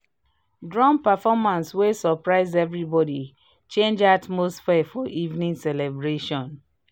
drum performance wey surprise everybody change atmosphere for evening celebration